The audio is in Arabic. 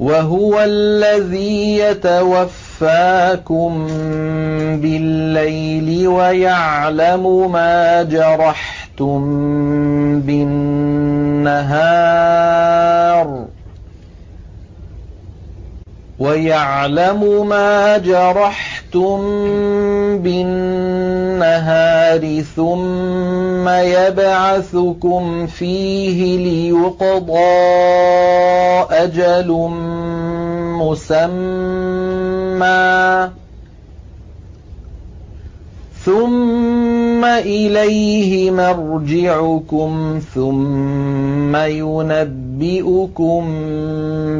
وَهُوَ الَّذِي يَتَوَفَّاكُم بِاللَّيْلِ وَيَعْلَمُ مَا جَرَحْتُم بِالنَّهَارِ ثُمَّ يَبْعَثُكُمْ فِيهِ لِيُقْضَىٰ أَجَلٌ مُّسَمًّى ۖ ثُمَّ إِلَيْهِ مَرْجِعُكُمْ ثُمَّ يُنَبِّئُكُم